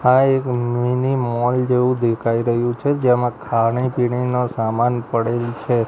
આ એક mini mall જેવું દેખાય રહ્યું છે જેમાં ખાણી પીણીનો સામાન પડેલ છે.